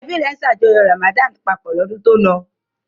Ẹbí rẹ̀ ṣàjọyọ̀ Ramadan papọ̀ lọ́dún tó lọ?